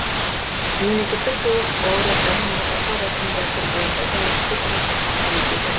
мемлекеттік сыйлық лауреаттарын марапаттау рәсімі дәстүр бойынша тәуелсіздік күні қарсаңында өтеді